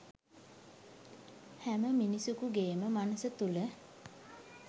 හැම මිනිසෙකුගේම මනස තුල